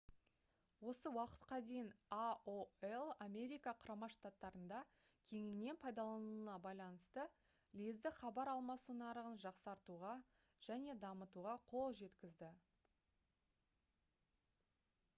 осы уақытқа дейін aol америка құрама штаттарында кеңінен пайдаланылуына байланысты лездік хабар алмасу нарығын жақсартуға және дамытуға қолжеткізді